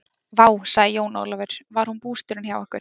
Vá, sagði Jón Ólafur, var hún bústjórinn hjá ykkur?